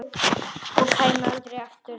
Og kæmi aldrei aftur.